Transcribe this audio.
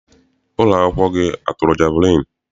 Ụlọakwụkwọ gị atụrụ jeviliini?